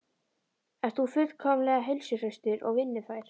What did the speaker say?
Ert þú fullkomlega heilsuhraustur og vinnufær?